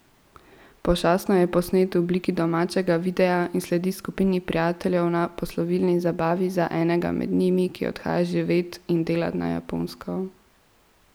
Pošastno je posnet v obliki domačega videa in sledi skupini prijateljev na poslovilni zabavi za enega med njimi, ki odhaja živet in delat na Japonsko.